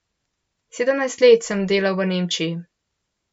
Sedemnajst let sem delal v Nemčiji.